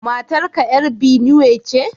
Matar ka ‘yar Binuwe ce?